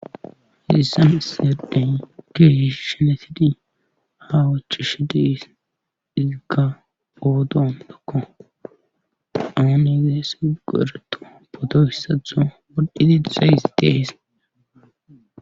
Hiissan isseden keehish shenesidi ha wuchishi dees iziga boodoan dokko awan egeesa go ereto boto hissatho woddidi disayis dees.